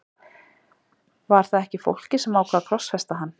Var það ekki fólkið sem ákvað að krossfesta hann?